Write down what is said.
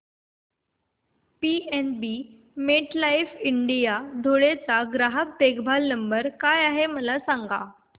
PNB MetLife India Dhule चा ग्राहक देखभाल नंबर काय आहे मला सांगा